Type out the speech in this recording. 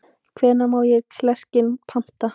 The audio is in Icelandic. Hvenær má ég klerkinn panta?